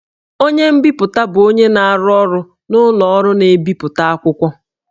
Onye nbipute bụ onye na-arụ ọrụ n'ụlọ ọrụ na-ebipụta akwụkwọ